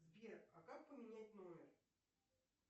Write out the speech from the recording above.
сбер а как поменять номер